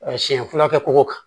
Siɲɛ fɔlɔ kɛ ko kan